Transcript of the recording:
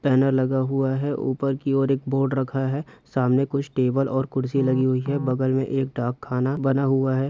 Banner लगा हुआ है ऊपर की ओर एक बोर्ड रखा हैं सामने कुछ टेबल और कुर्सी लगी हुई हैं बगल में एक डाक खाना बना हुआ हैं।